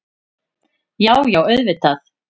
Já, já auðvitað.